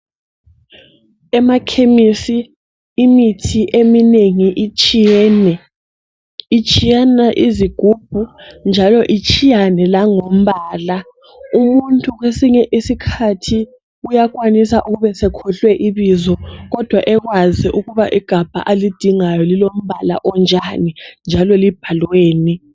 Emakhemisi imithi eminengi itshiyene. Itshiyena izigubhu njalo itshiyane langombala. Umuntu kwesinye isikhathi uyakwanisa ukuba esekhohlwe ibizo kodwa ekwazi ukuthi igabha alidingayo lilombala onjani njalo libhalweni.